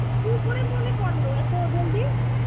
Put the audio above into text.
কতদিন পরে মনে পড়ল এত জলদি?